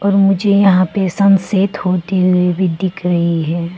और मुझे यहां पे सन सेट होते हुए भी दिख रही है।